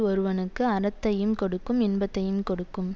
ஒருவனுக்கு அறத்தையும் கொடுக்கும் இன்பத்தையும் கொடுக்கும்